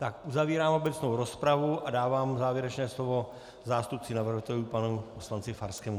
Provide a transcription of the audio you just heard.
Tak uzavírám obecnou rozpravu a dávám závěrečné slovo zástupci navrhovatelů panu poslanci Farskému.